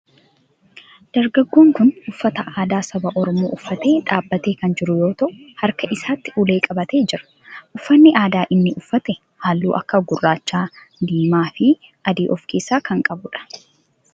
Dargaggoon kun uffata aadaa saba oromoo uffatee dhaabbatee kan jiru yoo ta'u harka isaatti ulee qabatee jira. uffanni aadaa inni uffate halluu akka gurraacha, diimaa fi adii of keessaa kan qabudha.